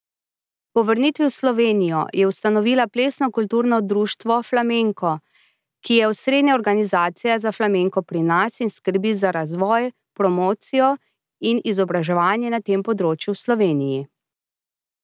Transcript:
Po vrnitvi v Slovenijo je ustanovila Plesno kulturno društvo Flamenko, ki je osrednja organizacija za flamenko pri nas in skrbi za razvoj, promocijo in izobraževanje na tem področju v Sloveniji.